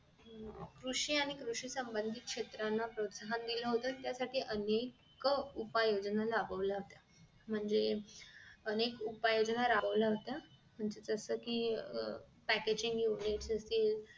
कृषी आणि कृषी संबंधी क्षेत्राना प्रोत्साहन दिल होत त्या सारखे अनेक उपाय योजना राबवल्या होत्या म्हणजे अनेक उपाय योजना राबवल्या होत्या जस कि अह packging unit योजना